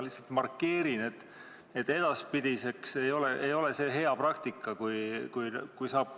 Lihtsalt markeerin edaspidiseks, et see ei ole see hea praktika.